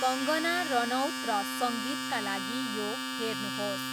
कङ्गना रनौत र सङ्गीतका लागि यो हेर्नुहोस्।